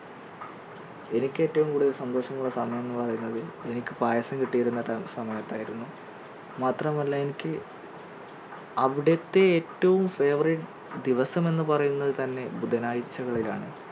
എനിക്ക് ഏറ്റവും കൂടുതൽ സന്തോഷം ഉള്ള സമയം എന്നു പറയുന്നത് എനിക്ക് പായസം കിട്ടിയിരുന്ന സമയത്തായിരുന്നു മാത്രമല്ല എനിക്ക് അവിടുത്തെ ഏറ്റവും favourite ദിവസം എന്ന് പറയുന്നത് തന്നെ ബുധനാഴ്ച കളിൽ ആണ്